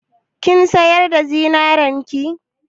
Kin sayar da zinarin ki?